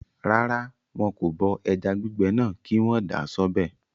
Rárá, wọn kò bọ ẹja gbígbẹ náà kí wọ́n dà á sọ́bẹ̀